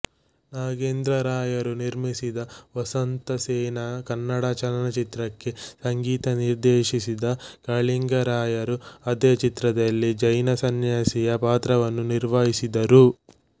ನಾಗೇಂದ್ರರಾಯರು ನಿರ್ಮಿಸಿದ ವಸಂತಸೇನಾ ಕನ್ನಡ ಚಲನಚಿತ್ರಕ್ಕೆ ಸಂಗೀತ ನಿರ್ದೇಶಿಸಿದ ಕಾಳಿಂಗರಾಯರು ಅದೇ ಚಿತ್ರದಲ್ಲಿ ಜೈನ ಸನ್ಯಾಸಿಯ ಪಾತ್ರವನ್ನೂ ನಿರ್ವಹಿಸಿದರು